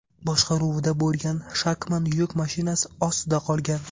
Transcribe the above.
boshqaruvida bo‘lgan Shacman yuk mashinasi ostida qolgan.